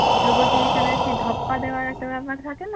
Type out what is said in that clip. লুকোচুরি খেলায় সেই ধপ্পা দেওয়ার একটা ব্যাপার থাকে না